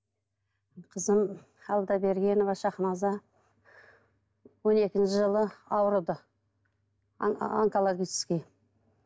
қызым алдабергенова шахназа он екінші жылы ауырды онкологически